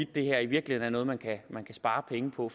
det her i virkeligheden er noget man kan spare penge på